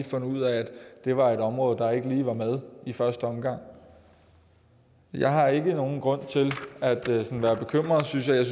fundet ud af at det var et område der ikke lige var med i første omgang jeg har ikke nogen grund til at være bekymret synes jeg jeg